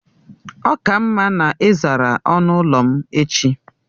Ọ ka mma na ị zara ọnụ ụlọ m echi!